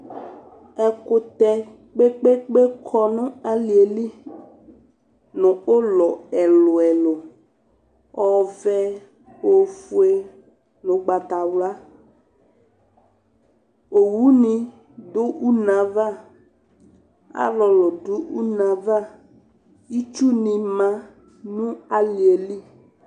Ɛkʋtɛ kpe-kpe-kpe kɔ nʋ alɩ yɛ li nʋ ʋlɔ ɛlʋ-ɛlʋ Ɔvɛ, ofue nʋ ʋgbatawla Owunɩ dʋ une yɛ ava Alʋlʋ dʋ une yɛ ava Itsunɩ ma nʋ alɩ yɛ li